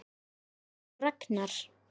María og Ragnar.